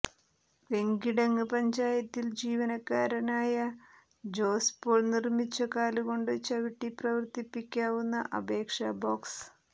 വെങ്കിടങ്ങ് പഞ്ചായത്തിൽ ജീവനക്കാരനായ ജോസ് പോൾ നിർമിച്ച കാലുകൊണ്ട് ചവിട്ടി പ്രവർത്തിപ്പിക്കാവുന്ന അപേക്ഷാ ബോക്സ്